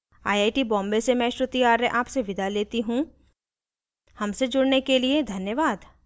I I T Bombay से मैं श्रुति आर्य आपसे विदा लेती हूँ हमसे जुड़ने के लिए धन्यवाद